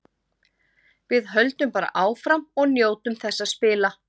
Við höldum bara áfram og njótum þess að spila.